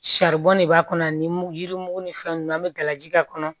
Saribɔn de b'a kɔnɔ ani yirimugu ni fɛn nunnu an bɛ gala ji k'a kɔnɔ